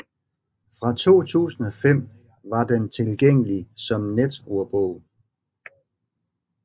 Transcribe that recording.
Fra 2005 var den tilgængelig som netordbog